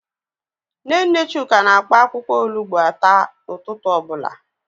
Nne nne Chuka na-akpa akwụkwọ olugbo ata ụtụtụ ọ bụla.